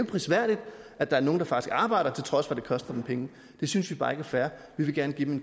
prisværdigt at der er nogle der faktisk arbejder til trods for at det koster dem penge det synes vi bare ikke er fair vi vil gerne give dem